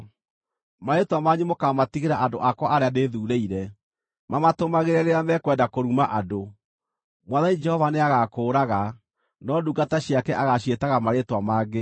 Marĩĩtwa manyu mũkaamatigĩra andũ akwa arĩa ndĩthuurĩire, mamatũmagĩre rĩrĩa mekwenda kũruma andũ; Mwathani Jehova nĩagakũũraga, no ndungata ciake agaaciĩtaga marĩĩtwa mangĩ.